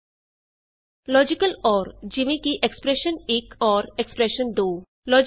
Expression1 expression two logical or ਜਿਵੇਂ ਕਿ expression one ।। Expression two easy